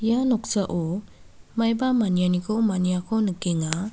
ia noksao maiba manianiko maniako nikenga.